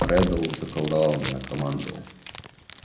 реддл заколдовал меня командовал